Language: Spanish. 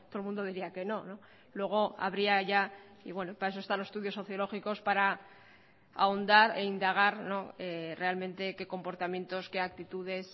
el mundo diría que no luego habría ya y bueno para eso están los estudios sociológicos para ahondar e indagar realmente qué comportamientos qué actitudes